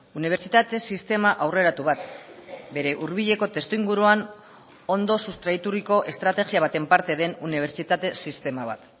unibertsitate sistema aurreratu bat bere hurbileko testuinguruan ondo sustraituriko estrategia baten parte den unibertsitate sistema bat